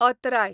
अत्राय